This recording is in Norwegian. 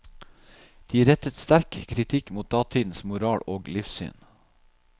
De rettet sterk kritikk mot datidens moral og livssyn.